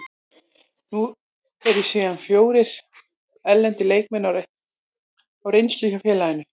Nú eru síðan fjórir erlendir leikmenn á reynslu hjá félaginu.